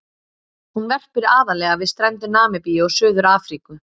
Hún verpir aðallega við strendur Namibíu og Suður-Afríku.